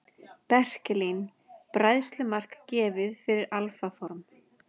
Berkelín: Bræðslumark gefið fyrir alfa form.